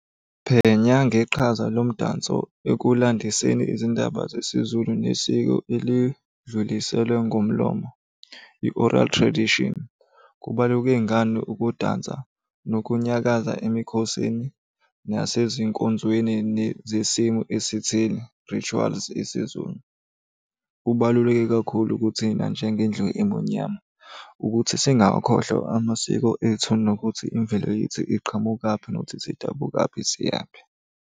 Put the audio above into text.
Phenya ngeqhaza lo mdanso ekulandiseni izindaba zesiZulu nesiko elidluliselwe ngomlomo i-oral tradition. Kubaluke ngane ukudansa nokunyakaza emikhosini nasezinkonzweni zesimo esitheni, rituals isiZulu. Kubaluleke kakhulu kuthina njengendlu emunyama ukuthi singawakhohlwa amasiko ethu nokuthi imvelo yethu iqhamukaphi nokuthi sidabuka kuphi siya kuphi.